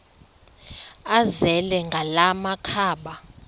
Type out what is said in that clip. azele ngala makhaba